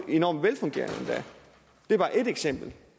enormt velfungerende det var ét eksempel